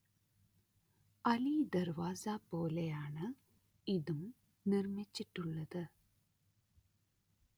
അലിദർവാസ പോലെയാണ് ഇതും നിർമിച്ചിട്ടുള്ളത്